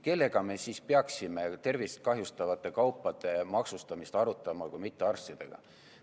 Kellega me siis peaksime tervistkahjustavate kaupade maksustamist arutama, kui mitte arstidega?